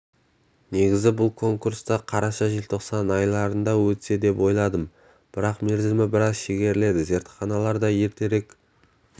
негізі бұл конкурсты қараша-желтоқсан айларында өтсе деп ойладым бірақ мерзімі біраз шегерілді зертханалар да ертерек